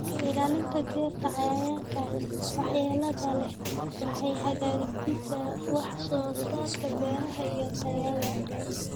Ka ilaalinta dhirta cayayaanka waxyeelada leh waxay hagaajisaa wax soo saarka beeraha iyo tayada.